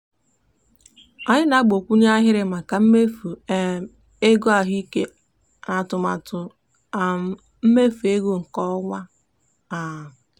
anyị gbakwunyere ahịrị maka mmefu um ego ahụike n'atụmatụ um mmefu ego nke ọnwa a. um